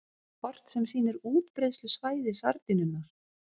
Kort sem sýnir útbreiðslusvæði sardínunnar.